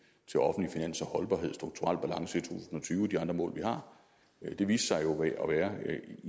og de andre mål vi har jo viste sig at være